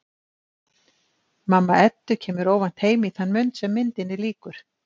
Mamma Eddu kemur óvænt heim í þann mund sem myndinni lýkur.